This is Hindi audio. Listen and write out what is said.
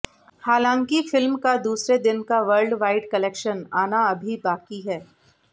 हालांकि फिल्म का दूसरे दिन का वर्ल्डवाइड कलेक्शन आना अभी बाकी है